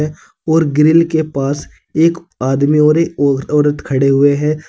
और ग्रिल के पास एक आदमी और एक और औरत खड़े हुए हैं।